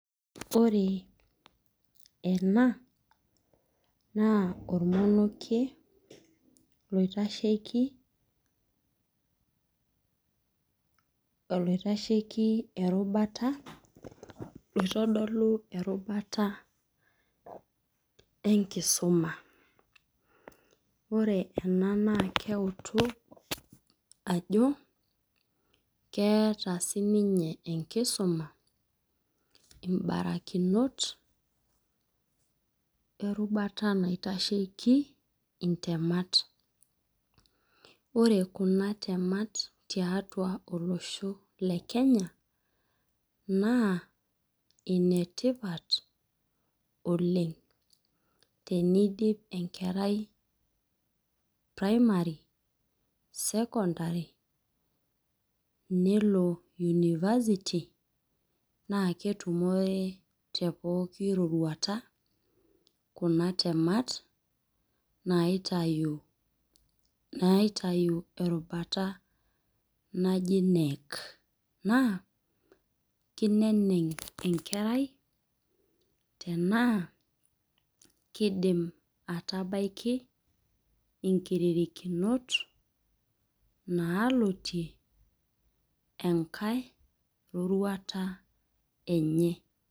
Ore ena, naa ormonokie loitashieki ,oloitasheiki erubata oloitodolu erubata enkisuma. Ore ena naa keutu ajo keata siininye enkisuma imbarakinot erubata bnaitasheiki intemata. Ore kuna temat tiatua olosho le Kenya naa ine tipat oleng' teneidip enkerai Primary, Secondary, nelo University naake etumore te pooki roruata kuna temat naitayu erubata naji KNEC. Naa keineneng' enkerai tanaa keidim atabaiki inkiririkinot naalotie enkai roruata enye.